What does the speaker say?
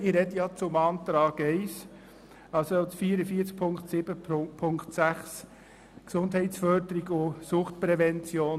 Ich spreche zum Antrag 1 betreffend die Massnahme 44.7.6 Gesundheitsförderung und Suchtprävention.